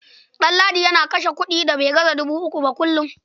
Ɗanladi yana kashe kuɗi da bai gaza dubu uku ba kullum.